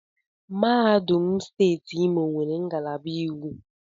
Mahadum steeti Imo nwere ngalaba iwu.